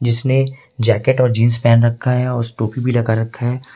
जिसने जैकेट और जींस पहन रखा है और टोपी भी लगा रखा है।